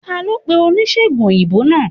Talo pe onisegùn oyinbo naa?